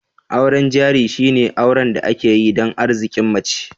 Auren jari shine auren da ake yi dan Arzikin mace